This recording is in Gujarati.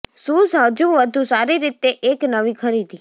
શૂઝ હજુ વધુ સારી રીતે એક નવી ખરીદી